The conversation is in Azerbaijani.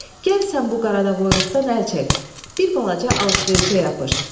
Gəl sən bu qaradavoyluqdan əl çək, bir balaca alış-verişə yapış.